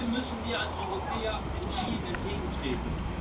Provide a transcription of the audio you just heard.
Dem müssen wir als Europäer entschieden entgegentreten.